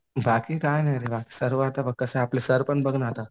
बाकी काही नाही रे बाकी सर्व आता बघ कसं आपले सर पण बघ ना आता